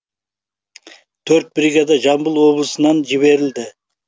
төрт бригада жамбыл облысынан жіберілді